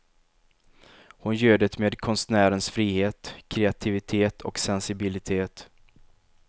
Hon gör det med konstnärens frihet, kreativitet och sensibilitet.